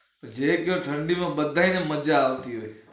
જે ઘેર ઠંડી ને બધા ને મજા આવતી હોંય